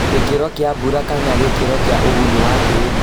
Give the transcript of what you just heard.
Gĩkĩro kĩa mbura kana gĩkĩro kĩa ũgunyu wa tĩri